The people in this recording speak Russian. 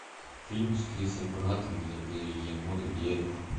фильм с крисом праттом где были енот и дерево